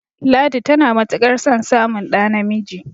ladi tana matuƙ ar son samun ɗa namiji